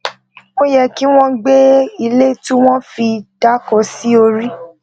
ó yẹ kí wón gbé ilé tí wón fi dáko sí orí